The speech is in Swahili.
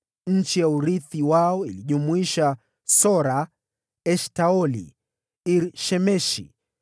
Eneo la urithi wao lilijumuisha: Sora, Eshtaoli, Iri-Shemeshi,